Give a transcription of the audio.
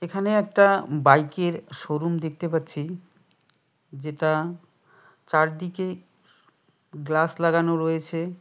এখানে একটা বাইকের শোরুম দেখতে পাচ্ছি যেটা চারদিকে গ্লাস লাগানো রয়েছে।